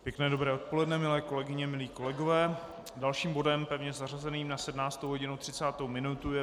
Pěkné dobré odpoledne, milé kolegyně, milí kolegové, dalším bodem, pevně zařazeným na 17.30, je